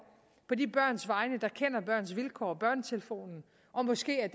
på de børns vegne der kender børns vilkår og børnetelefonen og måske ad